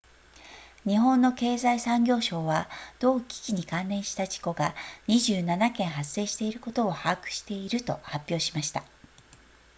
日本の経済産業省は同機器に関連した事故が27件発生していることを把握していると発表しました